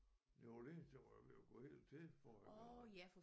New Orleans det var jo ved at gå helt til forrige gang